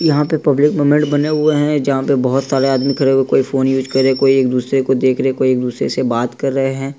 यह पैर पब्लिक ब्वने हुए हे जहा पे बहोत सरे आदमी खड़े होक फ़ोन यूज़ कर रहे हे कोई एक-दुसरे को देख रहे हे कोई एक-दुसरे से बात कर रहे है।